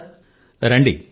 ధన్యవాదాలు సర్